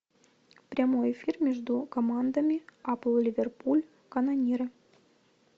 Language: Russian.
прямой эфир между командами апл ливерпуль канониры